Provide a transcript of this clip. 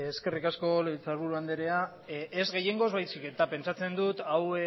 eskerrik asko legebiltzarburu anderea ez gehiengoz baizik eta pentsatzen dut hau